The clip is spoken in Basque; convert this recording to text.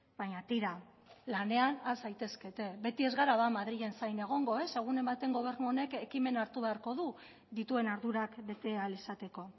baina tira lanean has zaitezkete beti ez gara ba madrilen zain egongo ez egunen batean gobernu honek ekimena hartu beharko du dituen ardurak bete ahal izateko